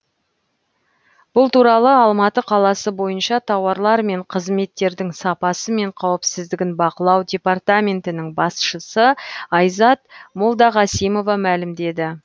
бұл туралы алматы қаласы бойынша тауарлар мен қызметтердің сапасы мен қауіпсіздігін бақылау департаментінің басшысы айзат молдағасимова мәлімдеді